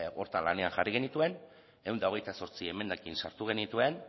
horretan jarri genituen ehun eta hogeita zortzi emendakin sartu genituen